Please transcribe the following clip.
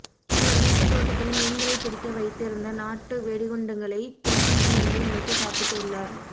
இவர் வீட்டு தோட்டத்தில் மீன்களை பிடிக்க வைத்து இருந்த நாட்டு வெடிகுண்டுகளை தின்பண்டம் என்று நினைத்து சாப்பிட்டு உள்ளார்